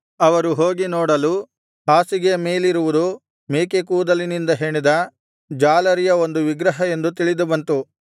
ಅವರು ಹೋಗಿ ನೋಡಲು ಹಾಸಿಗೆಯ ಮೇಲಿರುವುದು ಮೇಕೆಕೂದಲಿನಿಂದ ಹೆಣೆದ ಜಾಲರಿಯ ಒಂದು ವಿಗ್ರಹ ಎಂದು ತಿಳಿದುಬಂತು